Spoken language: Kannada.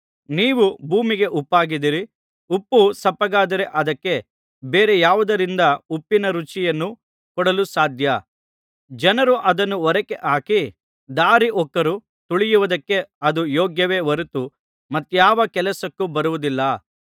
ನೀವು ಭೂಮಿಗೆ ಉಪ್ಪಾಗಿದ್ದೀರಿ ಉಪ್ಪು ಸಪ್ಪಗಾದರೆ ಅದಕ್ಕೆ ಬೇರೆ ಯಾವುದರಿಂದ ಉಪ್ಪಿನ ರುಚಿಯನ್ನು ಕೊಡಲು ಸಾಧ್ಯ ಜನರು ಅದನ್ನು ಹೊರಗೆಹಾಕಿ ದಾರಿಹೋಕರು ತುಳಿಯುವುದಕ್ಕೆ ಅದು ಯೋಗ್ಯವೇ ಹೊರತು ಮತ್ತ್ಯಾವ ಕೆಲಸಕ್ಕೂ ಬರುವುದಿಲ್ಲ